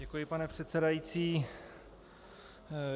Děkuji, pane předsedající.